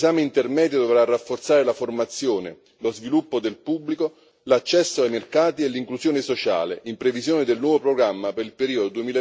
2020. Il riesame intermedio dovrà rafforzare la formazione, lo sviluppo del pubblico, l'accesso ai mercati e l'inclusione sociale, in previsione del nuovo programma per il periodo